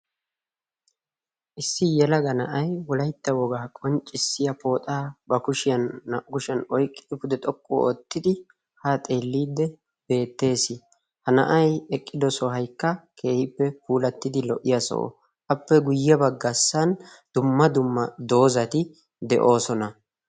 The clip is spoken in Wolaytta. issi yalaga na'ay wolaytta wogaa qonccissiya pooxaa ba kushiyan naa'u kushiyan oyqqii pude xoqqu oottidi ha xeelliidde beettees ha na'ai eqqido sohaikka keehippe puulattidi lo77iya so'o appe guyye baggaassan dumma dumma doozati de'oosona.